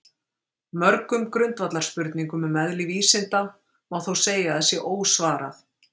Mörgum grundvallarspurningum um eðli vísinda má þó segja að sé ósvarað.